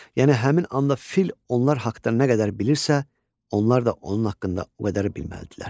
Yəni həmin anda fil onlar haqda nə qədər bilirsə, onlar da onun haqda o qədər bilməlidirlər.